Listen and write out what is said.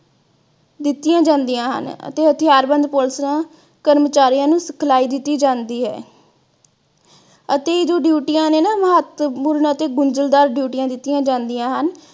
ਕੀਤੀਆਂ ਜਾਂਦੀਆਂ ਹਨ ਅਤੇ ਹਥਿਆਰਬੰਦ police ਕਰਮਚਾਰੀਆਂ ਨੂੰ ਸਿਖਲਾਈ ਦਿੱਤੀ ਜਾਂਦੀ ਹੈ ਅਤੇ ਜੋ ਡਿਊਟੀਆਂ ਨੇ ਨਾ ਮਹੱਤਵਪੂਰਨ ਅਤੇ ਗੁੰਝਲਦਾਰ ਡਿਊਟੀਆਂ ਦਿੱਤੀਆਂ ਜਾਂਦੀਆਂ ਹਨ।